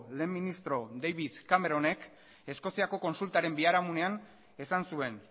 lehen ministro david cameronek eskoziako kontsultaren biharamunean esan zuen